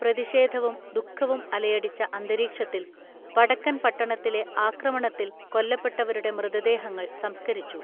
പ്രതിഷേധവും ദുഃഖവും അലയടിച്ച അന്തരീക്ഷത്തിൽ വടക്കൻ പട്ടണത്തിലെ ആക്രമണത്തിൽ കൊല്ലപ്പെട്ടവരുടെ മൃതദേഹങ്ങൾ സംസ്കരിച്ചു